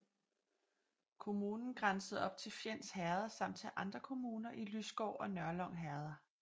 Kommunen grænsede op til Fjends Herred samt til andre kommuner i Lysgård og Nørlyng herreder